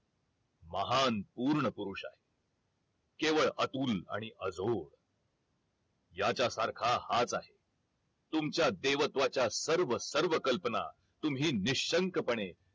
महान पूर्ण पुरुष आहे केवळ अतुल आणि अजोड याच्यासारखा हाच आहे तुमच्या देवत्वाच्या सर्व सर्व कल्पना तुम्ही निशंक पणे